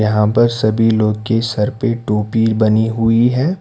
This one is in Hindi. यहां पर सभी लोग के सर पर टोपी बनी हुई है।